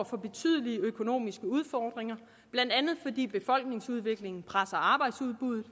for betydelige økonomiske udfordringer blandt andet fordi befolkningsudviklingen presser arbejdsudbuddet